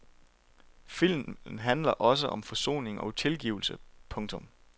Filmen handler også om forsoning og tilgivelse. punktum